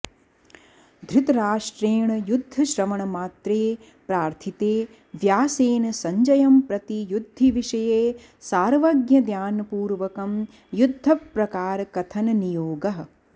धृतराष्ट्रेण युद्धश्रवणमात्रे प्रार्थिते व्यासेन सञ्जयंप्रति युद्धिविषये सार्वज्ञदानपूर्वकं युद्धप्रकारकथननियोगः